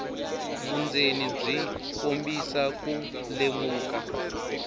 vundzeni byi kombisa ku lemuka